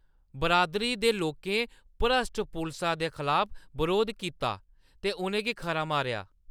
बरादरी दे लोकें भ्रश्ट पुलसा दे खलाफ बरोध करी दित्ता गे ते उʼनें गी खरा मारेआ।